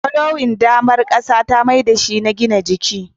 fallowing damar ƙasa ta maido da shi na gina jiki